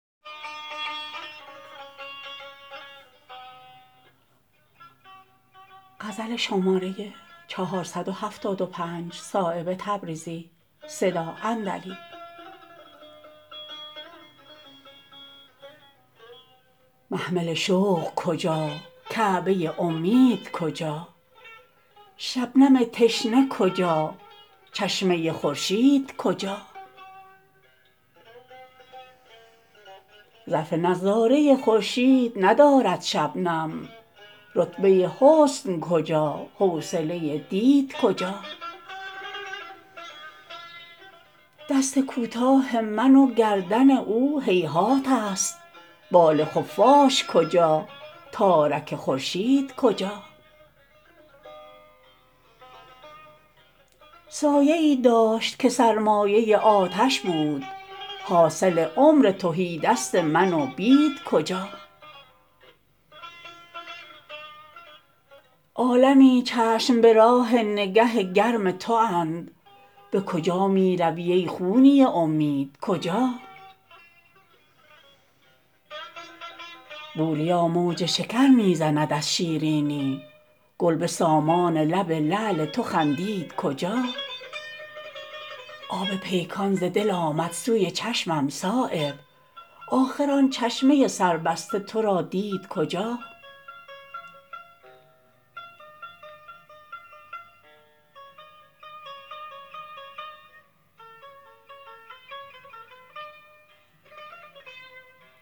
محمل شوق کجا کعبه امید کجا شبنم تشنه کجا چشمه خورشید کجا ظرف نظاره خورشید ندارد شبنم رتبه حسن کجا حوصله دید کجا دست کوتاه من و گردن او هیهات است بال خفاش کجا تارک خورشید کجا سایه ای داشت که سرمایه آتش بود حاصل عمر تهیدست من و بید کجا عالمی چشم به راه نگه گرم تواند به کجا می روی ای خونی امید کجا بوریا موج شکر می زند از شیرینی گل به سامان لب لعل تو خندید کجا آب پیکان ز دل آمد سوی چشمم صایب آخر آن چشمه سربسته ترا دید کجا